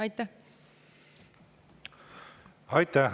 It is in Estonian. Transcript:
Aitäh!